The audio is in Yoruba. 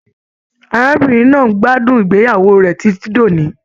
Arábìnrin náà n gbádùn ìgbéyàwó rẹ titi d'òní.